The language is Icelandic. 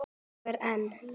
Og er enn.